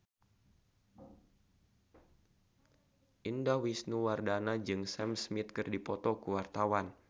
Indah Wisnuwardana jeung Sam Smith keur dipoto ku wartawan